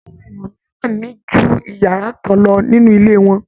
Awọn èèyàn mìíràn ní ju iyàrá kan lọ nínú ilé wọn.